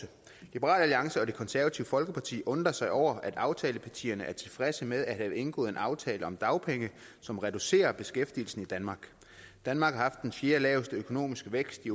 liberal alliance og det konservative folkeparti undrer sig over at aftalepartierne er tilfredse med at have indgået en aftale om dagpenge som reducerer beskæftigelsen i danmark danmark har haft den fjerdelaveste økonomiske vækst i